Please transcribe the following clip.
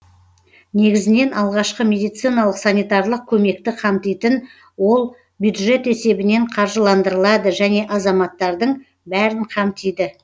негізінен алғашқы медициналық санитарлық көмекті қамтитын ол бюджет есебінен қаржыландырылады және азаматтардың бәрін қамтиды